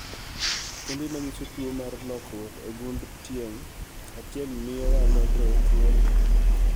Kembe manyiso tuo mar lokruok e gund tieng' achiel mio wa nonro e tuo ni